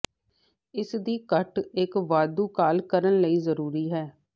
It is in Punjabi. ਇਸ ਦੀ ਘੱਟ ਇੱਕ ਵਾਧੂ ਕਾਲ ਕਰਨ ਲਈ ਜ਼ਰੂਰੀ ਹੈ